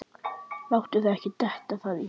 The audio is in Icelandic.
Láttu þér ekki detta það í hug.